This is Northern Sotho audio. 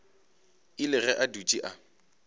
ile ge a dutše a